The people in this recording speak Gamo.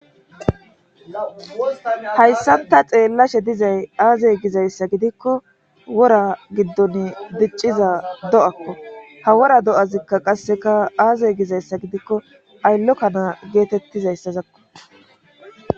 Hayssanta xeellashe dizay aazey gizayssa gidikko wora giddon dicciza do7akko ha wora do7azikka qasseka aazey gizayssa gidikko ayllokkanaa geetettizayssazakko.